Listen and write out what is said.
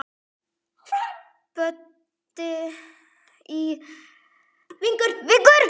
Böddi í Vigur.